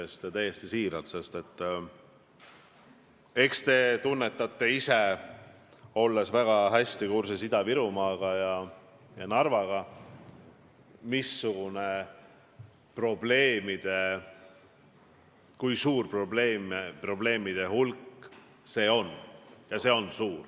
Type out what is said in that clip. Ütlen seda täiesti siiralt, sest eks te tunnetate ise, olles väga hästi kursis Ida-Virumaa ja Narva olukorraga, kui suur probleemide hulk see on.